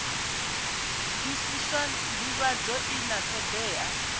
bvisiswa ndivhadzo i na thodea